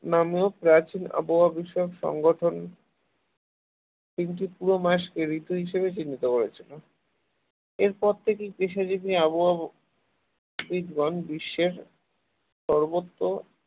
নামক একজন প্রাচীন আবহাওয়া বিষয়ক সংগঠন তিনটি পুরো মাসকে ঋতু হিসাবে চিহ্নিত করেছেন এরপর থেকেই আবহাওয়া শীত এবং গ্রীষ্মের সর্বত্র